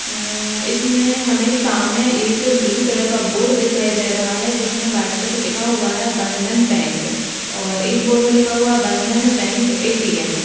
आ इसमें सामने हमें एक ब्लू कलर का बोर्ड दिखाई दे रहा है | जिसमे बाईट कलर से लिखा हुआ बंधन बैंक और एक बोर्ड में लिखा हुआ है बंधन बैंक एटीएम ।